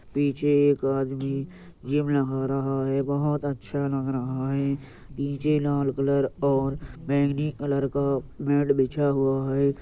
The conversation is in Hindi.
पीछे एक आदमी जिम लगा रहा है बहुत अच्छा लग रहा हैं। नीचे लाल कलर और बैंगनी कलर का मैट बिछा हुआ है।